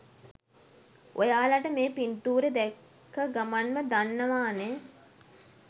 ඔයාලට මේ පින්තුරේ දැක්ක ගමන්ම දන්නවානේ